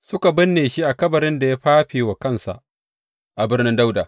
Suka binne shi a kabarin da ya fafe wa kansa a Birnin Dawuda.